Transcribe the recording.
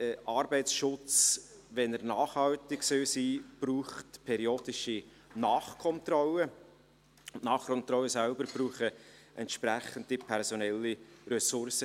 Arbeitsschutz, wenn er nachhaltig sein soll, braucht periodische Nachkontrollen, und die Nachkontrollen selber brauchen entsprechende personelle Ressourcen.